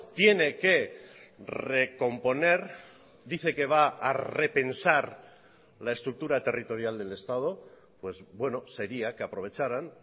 tiene que recomponer dice que va a repensar la estructura territorial del estado pues bueno sería que aprovecharan